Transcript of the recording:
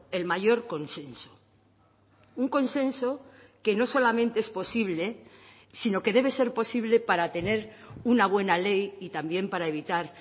el mayor consenso un consenso que no solamente es posible sino que debe ser posible para tener una buena ley y también para evitar